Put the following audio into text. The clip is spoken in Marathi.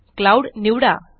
क्लाउड निवडा